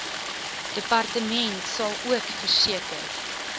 departement salook verseker